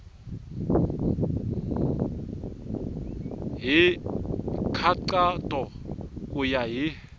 hi nkhaqato ku ya hi